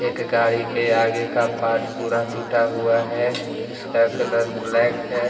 एक गाड़ी के आगे का पाट पूरा टूटा हुआ है इसका कलर ब्लैक है।